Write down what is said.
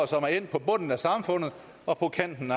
som er endt på bunden af samfundet og på kanten